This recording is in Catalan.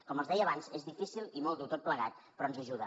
com els deia abans és difícil i molt dur tot plegat però ens ajuda